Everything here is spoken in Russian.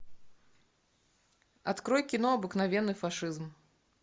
открой кино обыкновенный фашизм